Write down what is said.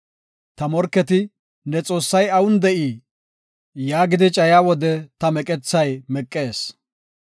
Ta morketi, “Ne Xoossay awun de7ii?” yaagidi cayiya wode ta meqethay meqees.